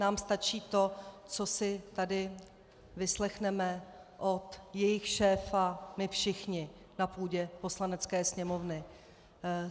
Nám stačí to, co si tady vyslechneme od jejich šéfa my všichni na půdě Poslanecké sněmovny.